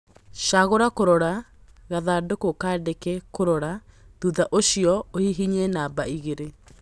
cagũra kũrora ( gathandũkũ kandĩke kũrora) thutha ũcio uhihinye namba igĩrĩ